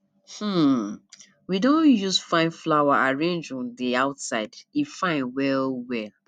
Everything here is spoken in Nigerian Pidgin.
um we don use fine flower arrange um di outside e fine wellwell